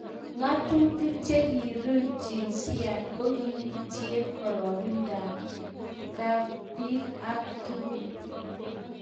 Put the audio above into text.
ngatutik che kiirub jinsiait ko kiyutie kororonindo kab biik ak tugun